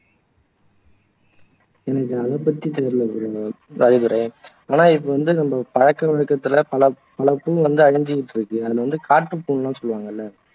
எனக்கு அதை பத்தி தெரியலை ராஜதுரை ஆனா இது வந்து நம்ம பழக்க வழக்கடத்துல பல பல பூ வந்து அழிஞ்சுட்டு இருக்கு அதுல வந்து காட்டுப்பூன்னு சொல்லுவாங்கல்ல